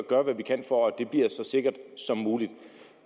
gøre hvad vi kan for at det bliver så sikkert som muligt